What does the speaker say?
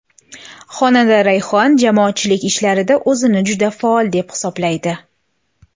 Xonanda Rayhon jamoatchilik ishlarida o‘zini juda faol deb hisoblaydi.